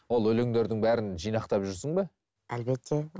ол өлендердің бәрін жинақтап жүрсің бе әлбетте